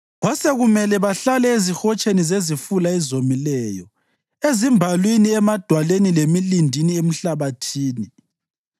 Kwasekumele bahlale ezihotsheni zezifula ezomileyo, ezimbalwini emadwaleni lemilindini emhlabathini.